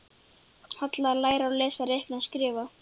Halla: Læra að lesa, reikna og skrifa.